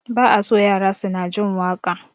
Ba a so yara suna jin waƙa